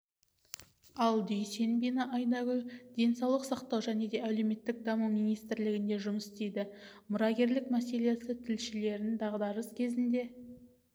ал дүйсенбина айнагүл денсаулық сақтау және әлеуметтік даму министрлігінде жұмыс істейді мұрагерлік мәселесі тілшілерін дағдарыс кезінде